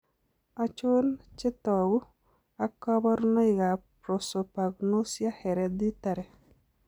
Achon chetogu ak kaborunoik ab prosopagnosia, hereditary